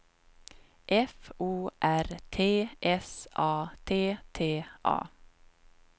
F O R T S A T T A